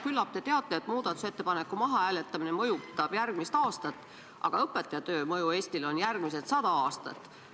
Küllap te teate, et muudatusettepaneku mahahääletamine mõjutab järgmist aastat, aga õpetaja töö mõju Eestile kestab järgmised sada aastat.